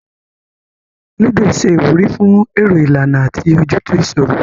Lúdò ṣe ìwúrí fún èrò ìlànà àti ojútùú ìṣòro